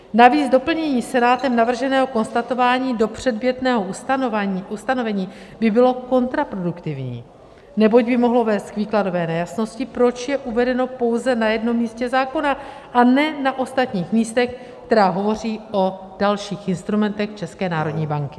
Navíc doplnění Senátem navrženého konstatování do předmětného ustanovení by bylo kontraproduktivní, neboť by mohlo vést k výkladové nejasnosti, proč je uvedeno pouze na jednom místě zákona, a ne na ostatních místech, která hovoří o dalších instrumentech České národní banky.